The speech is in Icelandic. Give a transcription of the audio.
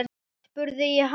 spurði ég hana.